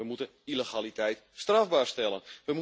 We moeten illegaliteit strafbaar stellen.